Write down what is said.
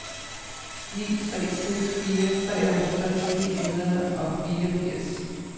ni tre seks fire treoghalvtreds ni hundrede og fireogfirs